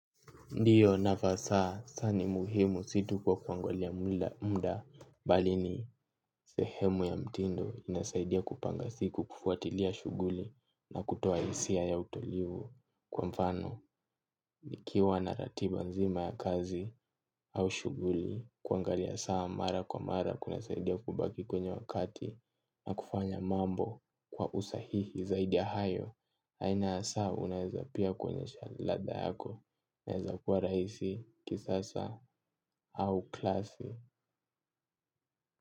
Ndiyo nafasa, saa ni muhimu situ kwa kuangalia mda mda, balini sehemu ya mtindo inasaidia kupanga siku kufuatilia shuguli na kutoa isia ya utulivu. Kwa mfano, nikiwa na ratiba nzima ya kazi au shuguli kuangalia saa mara kwa mara kuna saidia kubaki kwenye wakati na kufanya mambo kwa usahihi zaidia hayo. Aina ya saa unaeza pia kwonyesha lada yako. Naeza kuwa raisi, kisasa, au klasi.